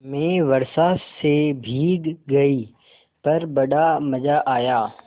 मैं वर्षा से भीग गई पर बड़ा मज़ा आया